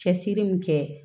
Cɛsiri min kɛ